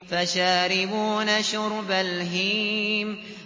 فَشَارِبُونَ شُرْبَ الْهِيمِ